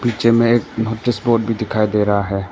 पीछे में एक नोटिस बोर्ड भी दिखाई दे रहा है।